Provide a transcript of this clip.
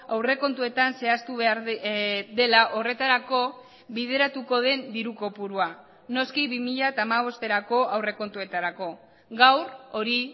aurrekontuetan zehaztu behar dela horretarako bideratuko den diru kopurua noski bi mila hamabosterako aurrekontuetarako gaur hori